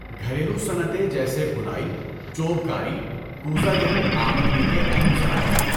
گھریلو صنعتیں جیسے بُنائی، چوب کاری، کوزہ گری آمدنی کے اہم ذرائع ہیں۔